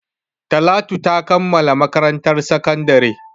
Talatu ta kammala makarantar sakandare.